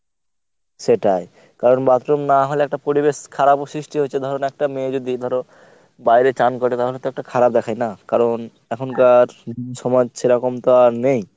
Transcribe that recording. সেটাই, কারণ bathroom না হলেএকটা পরিবেশ খারাপও সৃষ্টি হয়েছে ধরুন একটা মেয়ে যদি ধর বাইরে চান করে তাহলে তো একটা খারাপ দেখায় না? কারণ এখনকার সমাজ সেরকম তো আর নেই।